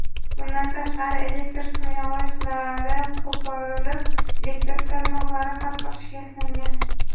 Bundan tashqari elektr simyog‘ochlari qo‘porilib, elektr tarmoqlari qattiq shikastlangan.